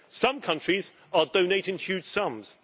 Some countries are donating huge sums.